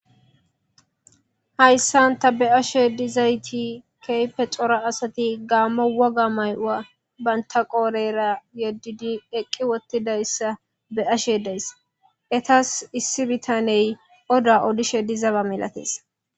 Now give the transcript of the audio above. Hayssanta be ashe dizayti keype xora asati gaammo woga may'ua bayntaqoorera yeddidi eqqi wottidayssa be ashe deys etas issi bitaney oda odishe dizaba milatees.